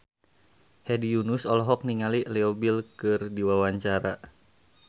Hedi Yunus olohok ningali Leo Bill keur diwawancara